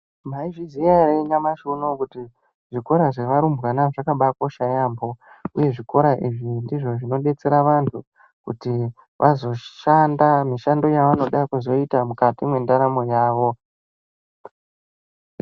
Mwaizviziya ere nyamashi unou kuti zvikora zvearumbwana zvakambaakosha yampho uye zvikora izvi ndizvo zvinodetsera antu kuti vazoshanda mshando yavanoda kuizoita mukati mwendaramo yavo.